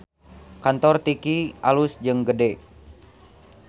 Kantor Tiki alus jeung gede